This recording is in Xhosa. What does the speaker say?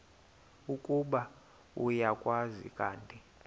ukuba uyakwazi kanti